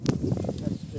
Yaxşı gəlin.